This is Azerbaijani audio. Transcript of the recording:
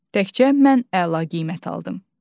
Təkcə mən əla qiymət aldım.